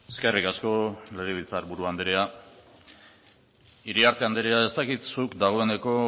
eskerrik asko legebiltzarburu andrea iriarte andrea ez dakit zut dagoeneko